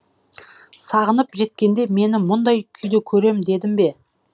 сағынып жеткенде мені мұндай күйде көрем дедім бе